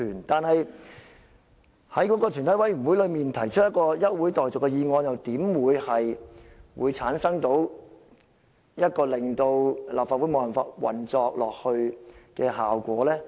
但是，在全體委員會內提出一項現即休會待續的議案又怎會產生令立法會無法運作的效果呢？